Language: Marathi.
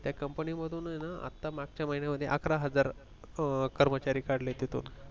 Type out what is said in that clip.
त्या company मधून आहे ना आता मागच्या महिन्यांमध्ये अकरा हजार कर्मचारी अ काढले तिथुन